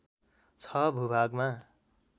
६ भूभागमा